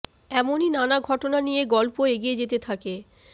এমনই নানা ঘটনা নিয়ে গল্প এগিয়ে যেতে থাকে